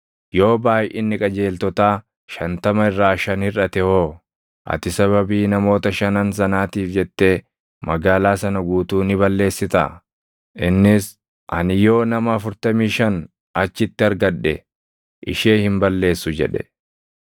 yoo baayʼinni qajeeltotaa shantama irraa shan hirʼate hoo? Ati sababii namoota shanan sanaatiif jettee magaalaa sana guutuu ni balleessitaa?” Innis, “Ani yoo nama afurtamii shan achitti argadhe ishee hin balleessu” jedhe.